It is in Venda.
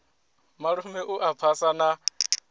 malume u a phasa na